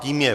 Tím je